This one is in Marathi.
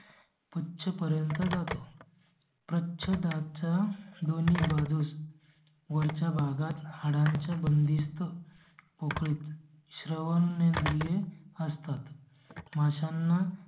पर्यंत जातो. प्रच्छदाच्या दोन्ही बाजूंस. वरच्या भागात हाडांच्या बंदिस्त पोकळीत श्रवणेंद्रिये असतात. माशांना